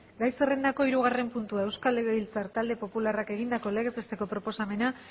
gai zerrendako hirugarren puntua euskal legebiltzar talde popularrak egindako legez beteko proposamena